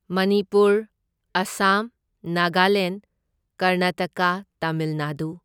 Manipur, Assam, Nagaland, Karnataka, Tamil Nadu.